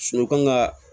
u kan ka